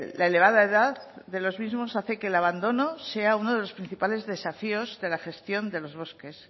la elevada edad de los mismos hace que el abandono sea uno de los principales desafíos de la gestión de los bosques